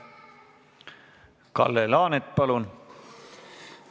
Kalle Laanet, palun!